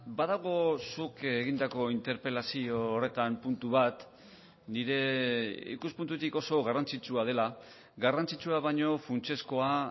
badago zuk egindako interpelazio horretan puntu bat nire ikuspuntutik oso garrantzitsua dela garrantzitsua baino funtsezkoa